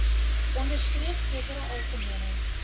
onderstreep sekere algemene